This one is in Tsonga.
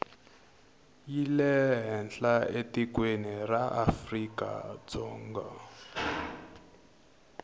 yi lehenhla etikweni ra afrikadzonga